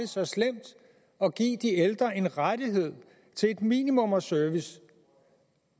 så slemt at give de ældre en rettighed til et minimum af service